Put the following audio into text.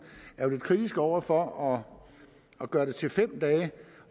er jo lidt kritisk over for at gøre det til fem dage